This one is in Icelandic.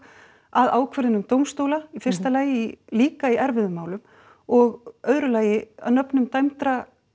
að ákvörðunum dómstóla í fyrsta lagi líka í erfiðum málum og öðru lagi að nöfnum dæmdra